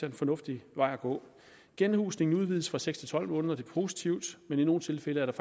en fornuftig vej at gå genhusningen udvides fra seks til tolv måneder det er positivt men i nogle tilfælde er der